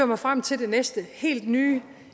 mig frem til det næste helt nye